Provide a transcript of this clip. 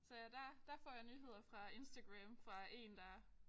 Så ja der der får jeg nyheder fra Instagram fra én der